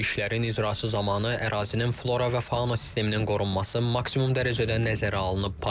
İşlərin icrası zamanı ərazinin flora və fauna sisteminin qorunması maksimum dərəcədə nəzərə alınıb.